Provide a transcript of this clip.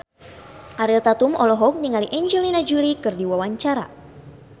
Ariel Tatum olohok ningali Angelina Jolie keur diwawancara